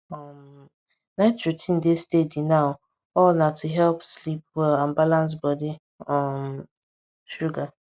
um night routine dey steady now all na to help sleep well and balance body um sugar